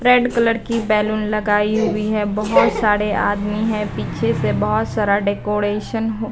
red colour की balloon लगाई हुई है बहुत सारे आदमी हैं पीछे से बहुत सारा डेकोरेशन --